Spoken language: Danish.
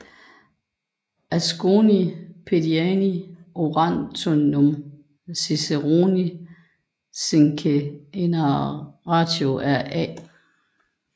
Asconii Pediani Orationum Ciceronis quinque enarratio af A